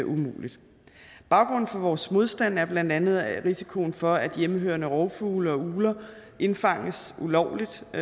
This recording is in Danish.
umuligt baggrunden for vores modstand er blandt andet risikoen for at hjemmehørende rovfugle og ugler indfanges ulovligt i